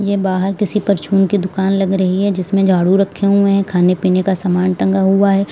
ये बाहर किसी परचून की दुकान लग रही है जिसमें झाड़ू रखे हुए हैं खाने पीने का सामान टंगा हुआ है।